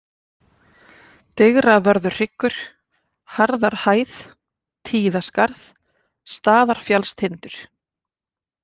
Digravörðuhryggur, Harðarhæð, Tíðaskarð, Staðarfjallstindur